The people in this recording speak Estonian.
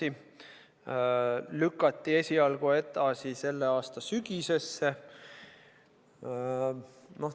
IPO lükati esialgu edasi selle aasta sügisesse.